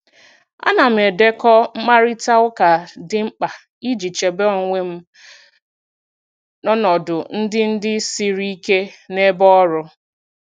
Ana m edekọ mkparịta ụka dị mkpa iji chebe onwe m n'ọnọdụ ndị ndị siri ike n'ebe ọrụ.